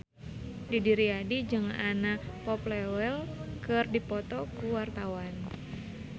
Didi Riyadi jeung Anna Popplewell keur dipoto ku wartawan